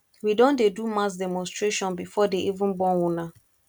we don dey do mass demonstration before dey even born una